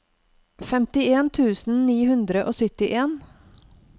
femtien tusen ni hundre og syttien